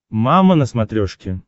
мама на смотрешке